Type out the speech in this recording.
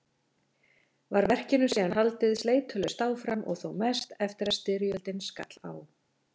Var verkinu síðan haldið sleitulaust áfram og þó mest eftir að styrjöldin skall á.